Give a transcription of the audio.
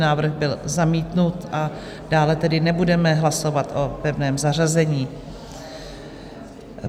Návrh byl zamítnut, a dále tedy nebudeme hlasovat o pevném zařazení.